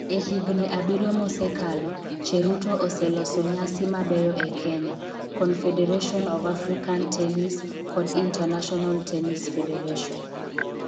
E higni abiriyo mosekalo, Cheruto oseloso nyasi mabeyo e Kenya, Confederation of African Tennis (CAT) kod International Tennis Federation (ITF).